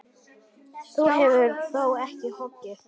Þú hefur þó ekki hoggið?